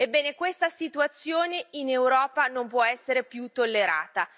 Ebbene questa situazione in Europa non può essere più tollerata.